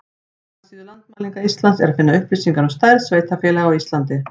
Á heimasíðu Landmælinga Íslands er að finna upplýsingar um stærð sveitarfélaga á Íslandi.